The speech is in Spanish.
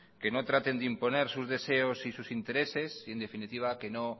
que no traten de imponer sus deseos y sus intereses y en definitiva que no